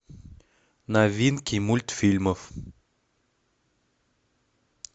новинки мультфильмов